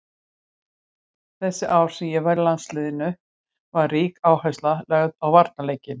Þessi ár sem ég var í landsliðinu var rík áhersla lögð á varnarleikinn.